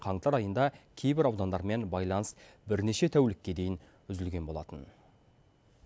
қаңтар айында кейбір аудандармен байланыс бірнеше тәулікке дейін үзілген болатын